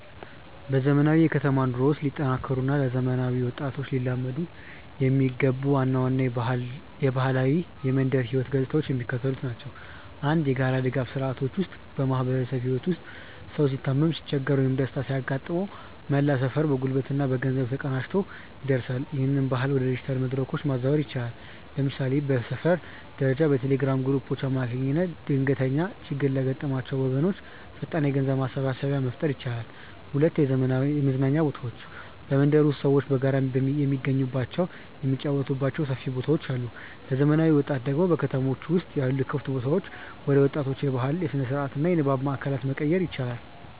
በዘመናዊው የከተማ ኑሮ ውስጥ ሊጠናከሩ እና ለዘመናዊ ወጣቶች ሊላመዱ የሚገባቸው ዋና ዋና የባህላዊ የመንደር ህይወት ገጽታዎች የሚከተሉት ናቸው፦ 1. የጋራ ድጋፍ ስርዓቶች ውስጥ በማህበራዊ ህይወት ውስጥ ሰው ሲታመም፣ ሲቸገር ወይም ደስታ ሲያጋጥመው መላው ሰፈር በጉልበትና በገንዘብ ተቀናጅቶ ይደርሳል። ይህንን ባህል ወደ ዲጂታል መድረኮች ማዛወር ይቻላል። ለምሳሌ በሰፈር ደረጃ በቴሌግራም ግሩፖች አማካኝነት ድንገተኛ ችግር ለገጠማቸው ወገኖች ፈጣን የገንዘብ ማሰባሰቢያ መፍጠር ይቻላል። 2. የመዝናኛ ቦታዎች በመንደር ውስጥ ሰዎች በጋራ የሚገናኙባቸው፣ የሚጫወቱባቸው ሰፊ ቦታዎች አሉ። ለዘመናዊ ወጣቶች ደግሞ በከተሞች ውስጥ ያሉ ክፍት ቦታዎችን ወደ ወጣቶች የባህል፣ የስነ-ጥበብ እና የንባብ ማእከላት መቀየር ይቻላል።